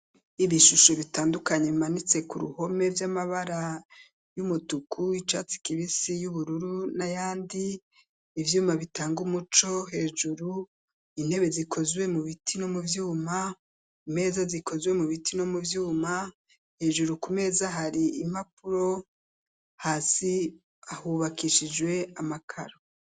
Ibishusho bitandukanye bimanitse ku ruhome vy'amabara y'umutuku, icatsi kibisi, y'ubururu, n'ayandi, ivyuma bitanga umuco hejuru, intebe zikozwe mu biti no mu vyuma, imeza zikozwe mu biti no mu vyuma, hejuru ku meza hari impapuro, hasi hubakishijwe amakaro.